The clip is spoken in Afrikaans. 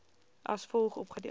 as volg opgedeel